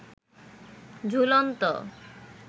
ঝুলন্ত